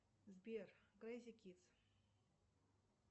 сбер крейзи кидс